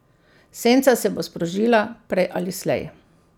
Senca se bo sprožila, prej ali slej.